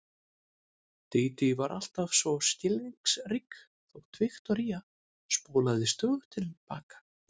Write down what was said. Dídí var alltaf svo skilningsrík þótt Viktoría spólaði stöðugt til baka.